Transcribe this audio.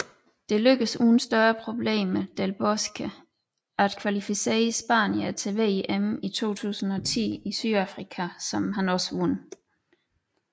Det lykkedes uden større problemer Del Bosque at kvalificere spanierne til VM i 2010 i Sydafrika som han også vandt